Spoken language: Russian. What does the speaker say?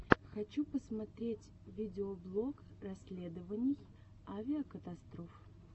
хочу посмотреть видеоблог расследований авикатастроф